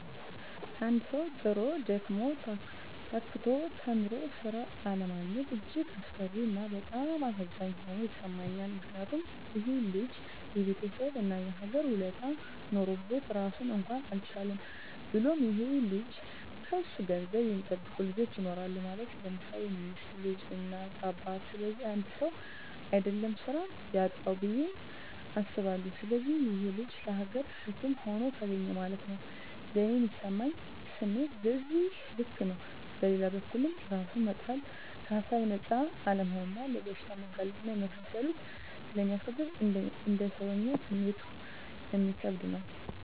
አንድ ሠዉ, ጥሮ: ደክሞ :ታክቶ ተምሮ ስራ አለማግኘት እጅግ አሳፋሪ እና በጣም አሳዛኝ ሆኖ ይሠማኛል ምክንያቱም :ይሄ ልጅ የቤተሠብ እና የሀገር ውለታ ኖሮበት ራሱን እንኳን አልቻለም። ብሎም ይሄ ልጅ ከሱ ገንዘብ የሚጠብቁ ልጆች ይኖራሉ ማለት _ለምሳሌ ሚስት: ልጅ: እናት :አባት ስለዚህ 1ሰው: አደለም ስራ ያጣዉ ብየ አስባለሁ። ስለዚህ ይሄ_ ልጅ ለሀገርም ሸክም ሆኖ ተገኘ ማለት ነዉ። ለኔ ሚሰማኝ ስሜት በዚህ ልክ ነው። በሌላ በኩልም እራስን መጣል ከሀሳብ ነፃ አለመሆንና ለበሽታ መጋለጥ እና የመሳሰሉትን ስለሚያስከትል: እንደ ሰወኛ ስሜቱ እሚከብድ ነው